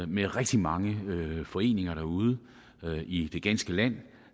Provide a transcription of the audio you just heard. med rigtig mange lokalforeninger derude i det ganske land